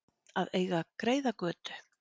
Að eiga greiða götu